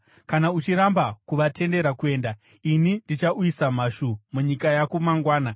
Kana uchiramba kuvatendera kuenda, ini ndichauyisa mhashu munyika yako mangwana.